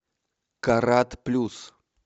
карат плюс